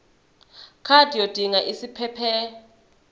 card yodinga isiphephelok